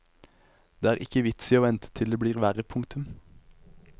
Det er ikke vits i å vente til det blir verre. punktum